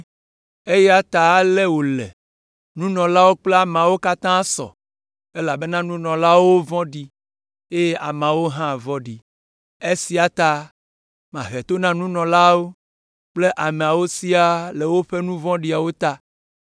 eya ta ale wòle: Nunɔlawo kple ameawo katã sɔ, elabena nunɔlaawo vɔ̃ɖi, eye ameawo hã vɔ̃ɖi. Esia ta, mahe to na nunɔlaawo kple ameawo siaa le woƒe nu vɔ̃ɖiwo ta.